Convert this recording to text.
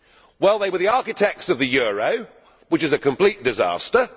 Well they were the architects of the euro, which is a complete disaster.